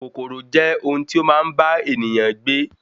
Kòkòrò je ohun ti ó maa n ba ènìyàn gbe